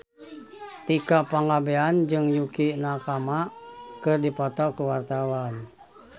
Tika Pangabean jeung Yukie Nakama keur dipoto ku wartawan